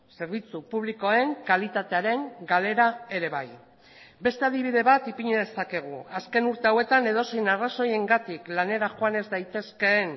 zerbitzu publikoen kalitatearen galera ere bai beste adibide bat ipini dezakegu azken urte hauetan edozein arrazoiengatik lanera joan ez daitezkeen